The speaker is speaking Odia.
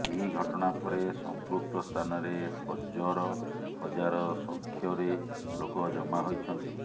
ଏହି ଘଟଣା ପରେ ସଂପୃକ୍ତ ସ୍ଥାନରେ ହଜର ହଜାର ସଂଖ୍ୟରେ ଲୋକ ଜମା ହୋଇଛନ୍ତି